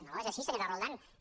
no és així senyor roldán